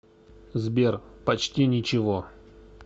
сбер почти ничего